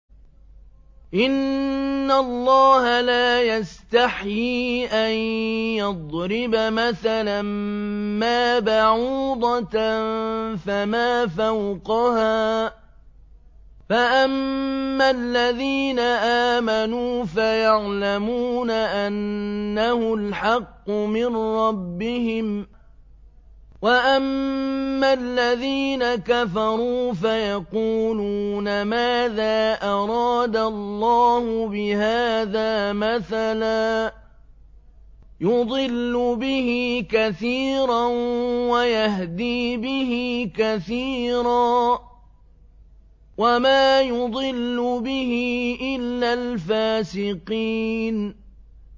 ۞ إِنَّ اللَّهَ لَا يَسْتَحْيِي أَن يَضْرِبَ مَثَلًا مَّا بَعُوضَةً فَمَا فَوْقَهَا ۚ فَأَمَّا الَّذِينَ آمَنُوا فَيَعْلَمُونَ أَنَّهُ الْحَقُّ مِن رَّبِّهِمْ ۖ وَأَمَّا الَّذِينَ كَفَرُوا فَيَقُولُونَ مَاذَا أَرَادَ اللَّهُ بِهَٰذَا مَثَلًا ۘ يُضِلُّ بِهِ كَثِيرًا وَيَهْدِي بِهِ كَثِيرًا ۚ وَمَا يُضِلُّ بِهِ إِلَّا الْفَاسِقِينَ